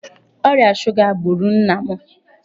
Ọrịa shuga gburu nna m.